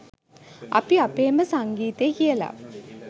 අපි අපේම සංගීතේ කියලා